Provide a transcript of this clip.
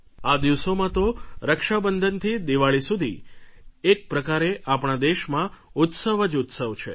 આ દિવસોમાં તો રક્ષાબંધનથી દીવાળી સુધી એક પ્રકારે આપણા દેશમાં ઉત્સવ જ ઉત્સવ છે